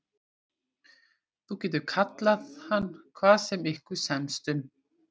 Þú getur kallað hann hvað sem ykkur semst um.